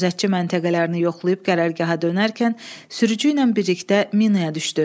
Gözətçi məntəqələrini yoxlayıb qərargaha dönərkən sürücü ilə birlikdə minaya düşdü.